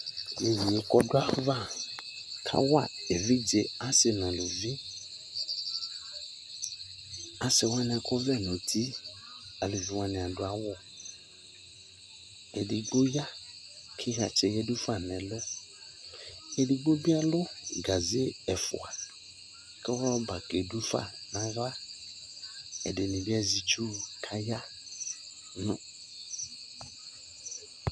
Yeye ko ɔdo ava kawa evidze ɔse no eluvi Ase wane akɔ ɔvlɛ no uti, aluvi wane ado awu Edigbo ya ko ayatsɛ yadu fa no ɛlu Edogbo be alu gaze ɛfua ko rɔba ke do fa no ahlaƐdene be azɛ itsu ko aya no